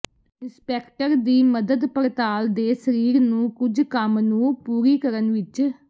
inspector ਦੀ ਮਦਦ ਪੜਤਾਲ ਦੇ ਸਰੀਰ ਨੂੰ ਕੁਝ ਕੰਮ ਨੂੰ ਪੂਰੀ ਕਰਨ ਵਿਚ